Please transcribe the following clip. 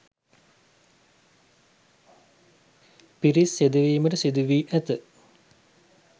පිරිස් යෙදවීමට සිදුවී ඇත.